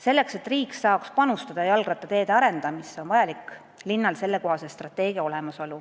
" Selleks, et riik saaks panustada jalgrattateede arendamisse, on vaja, et linnadel oleks sellekohane strateegia olemas.